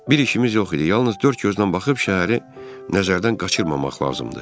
Bir işimiz yox idi, yalnız dörd gözlə baxıb şəhəri nəzərdən qaçırmamaq lazımdır.